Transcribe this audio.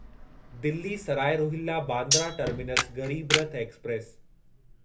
Delhi Sarai Rohilla Bandra terminus Garib Rath express